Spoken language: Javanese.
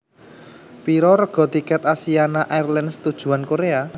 Piro rega tiket Asiana Airlines tujuan Korea?